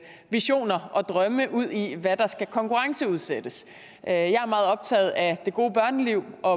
visioner og drømme udi hvad der skal konkurrenceudsættes jeg er meget optaget af det gode børneliv og